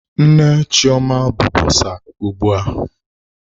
Nne Chioma bụ bọsa ugbu a.